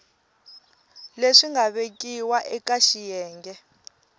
leswi nga vekiwa eka xiyenge